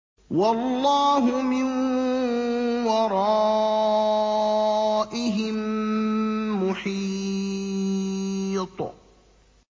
وَاللَّهُ مِن وَرَائِهِم مُّحِيطٌ